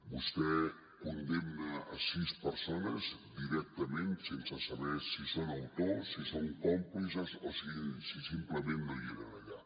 vostè condemna sis persones directament sense saber si són autors si són còmplices o si simplement no hi eren allà